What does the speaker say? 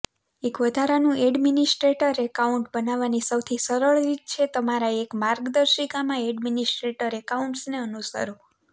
એક વધારાનું administrator account બનાવવાની સૌથી સરળ રીત છે તમારા મેક માર્ગદર્શિકામાં એડમિનિસ્ટ્રેટર એકાઉન્ટ્સને અનુસરો